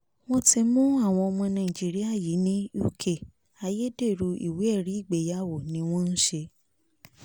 wọ́n ti mú àwọn ọmọ nàìjíríà yìí ní uk ayédèrú ìwé ẹ̀rí ìgbéyàwó ni wọ́n ń ṣe